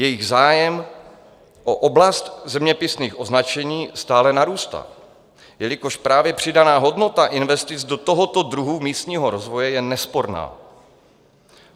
Jejich zájem o oblast zeměpisných označení stále narůstá, jelikož právě přidaná hodnota investic do tohoto druhu místního rozvoje je nesporná.